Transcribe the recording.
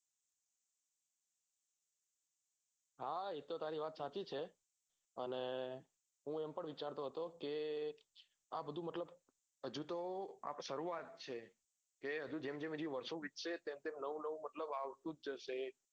હા એતો તારી વાત સાચી છે અને હું એમ પણ વિચારતો હતો કે આ બધું મતલબ હજુ તો સરુઆત છે જેમ જેમ હજુ વર્ષો તેમ તેમ હજુ તો નવું આવતું જ હશે